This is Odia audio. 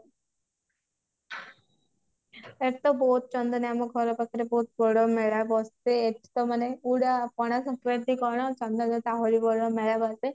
ଏଠି ତ ବହୁତ ଆମ ଘର ପାଖରେ ବହୁତ ବଡ ମେଳା ବସେ ଏଠି ତ ମାନେ ପୁରା ପଣା ସଂକ୍ରାନ୍ତି କଣ ମେଳା ବସେ